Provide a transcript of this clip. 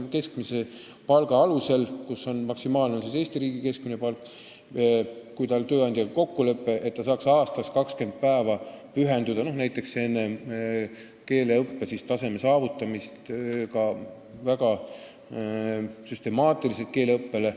Maksimaalselt saab hüvitist Eesti riigi keskmise palga ulatuses, kui inimesel on tööandjaga kokkulepe, et ta võib aastas 20 päeva süstemaatiliselt pühenduda keeleõppele, et saavutada kindel keeleõppetase.